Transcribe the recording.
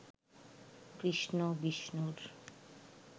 কৃষ্ণ বিষ্ণুর